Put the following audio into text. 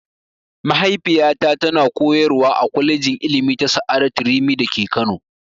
Mahaifiyata ta na koyarwa a kwalejin ilimi ta sa'adatu rimi da ke Kano